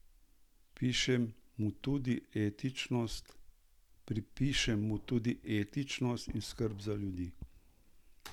Pripišem mu tudi etičnost in skrb za ljudi.